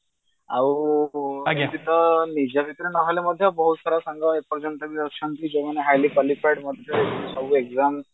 ଆଉ ଏମିତି ତ ନିଜ ଭିତରେ ନହେଲ ମଧ୍ୟ ବହୁତ ସାରା ସାଙ୍ଗ ଏପର୍ଯ୍ୟନ୍ତ ବି ଅଛନ୍ତି ଯୋଉମାନେ highly qualified ମଧ୍ୟ ଆଉ exam